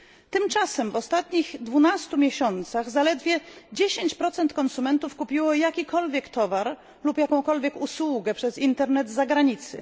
Tymczasem w ostatnich 12 miesiącach zaledwie 10 konsumentów kupiło jakikolwiek towar lub jakąkolwiek usługę przez internet z zagranicy.